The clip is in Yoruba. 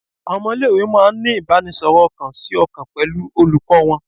Awọn ọmọ ile-iwe máà ń ní ìbáraẹnisọ̀rọ̀ ọkàn si ọkàn pẹlú olùkọ́ wọn.